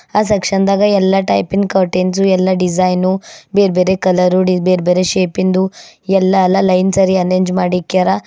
ಆ ಸೆಕ್ಷನ್ ದಾಗ ಎಲ್ಲಾ ಟೈಪಿ ನ್ ಕರ್ಟೈನ್ಸ್ ಎಲ್ಲಾ ಡಿಸೈನು ಬೇರೆ ಬೇರೆ ಕಲರ್ ಬೇರೆ ಬೇರೆ ಶೇಪ್ ಇಂದು ಎಲ್ಲಾ ಲೈನ್ಸ್ ಅಲ್ಲಿ ಅರೆಂಜ್ ಮಾಡಿಕ್ಯಾರ.